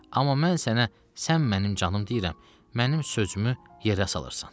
Amma mən sənə, sən mənim canım deyirəm, mənim sözümü yerə salırsan.